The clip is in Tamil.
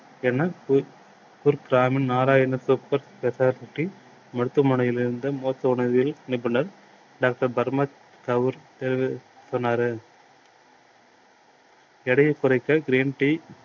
என்ன நாராயண மருத்துவமனையில் இருந்து மூட்டுவியல் நிபுணர் டாக்டர் சொன்னாரு. எடையை குறைக்க green tea